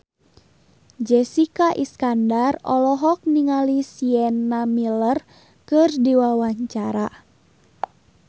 Jessica Iskandar olohok ningali Sienna Miller keur diwawancara